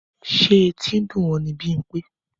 Ṣé etí ń dùn ọ́ ni Bímpé?